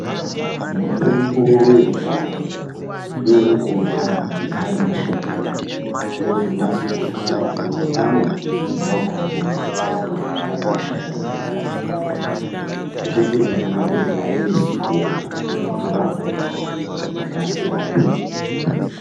Mitombo yekudhaya inonyanya kuoneka maningi ari mashakani ozonasirwa kuite kuti muntu amwe muto wakhona kana kut atorye ari mashakani akona. Mitombo iyi yakanakira kuti ainesi kuona inotorapa ngekukasirazve.